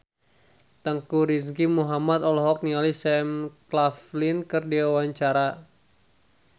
Teuku Rizky Muhammad olohok ningali Sam Claflin keur diwawancara